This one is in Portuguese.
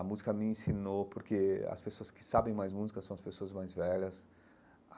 A música me ensinou, porque as pessoas que sabem mais música são as pessoas mais velhas.